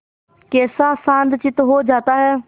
कैसा शांतचित्त हो जाता है